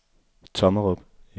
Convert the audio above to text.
Tommerup